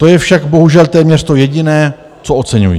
To je však bohužel téměř to jediné, co oceňuji.